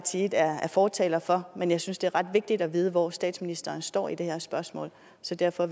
side er fortalere for men jeg synes det er ret vigtigt at vide hvor statsministeren står i det her spørgsmål så derfor